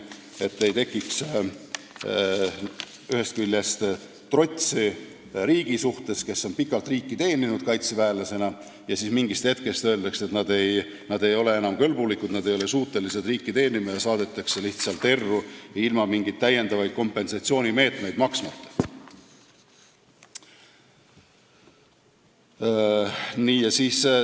Siis ei tekiks ühest küljest trotsi riigi suhtes nendel inimestel, kes on pikalt kaitseväelasena riiki teeninud, aga kellele mingi hetk öeldakse, et nad ei ole enam kõlblikud ega suutelised riiki teenima, ja saadetakse lihtsalt erru, ilma mingit lisakompensatsiooni maksmata.